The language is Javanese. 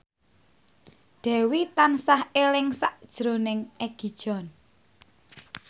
Dewi tansah eling sakjroning Egi John